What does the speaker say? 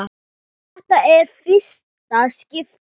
Þetta er í fyrsta skipti.